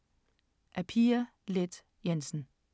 Af Pia Leth Jensen